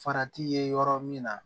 Farati ye yɔrɔ min na